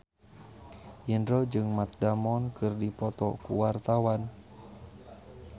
Indro jeung Matt Damon keur dipoto ku wartawan